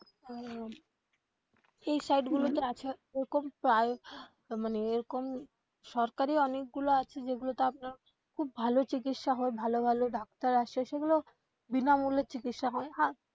আহ এই side গুলোতে আছে এরকম প্রায় মানে এরকম সরকারি ও অনেকগুলা আছে যেগুলো তে আপনার খুব ভালো চিকিৎসা হয় ভালো ভালো ডাক্তার আসে সেগুলো বিনামূল্যে চিকিৎসা হয় হ্যাঁ